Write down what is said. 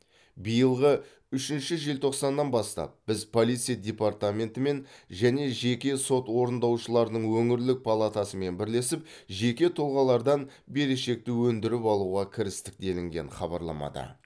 биылғы үшінші желтоқсанынан бастап біз полиция департаментімен және жеке сот орындаушыларының өңірлік палатасымен бірлесіп жеке тұлғалардан берешекті өндіріп алуға кірістік делінген хабарламада